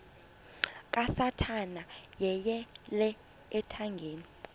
kasathana yeyele ethangeni